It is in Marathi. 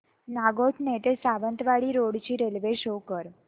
नागोठणे ते सावंतवाडी रोड ची रेल्वे शो कर